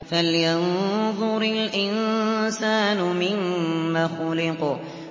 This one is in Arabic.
فَلْيَنظُرِ الْإِنسَانُ مِمَّ خُلِقَ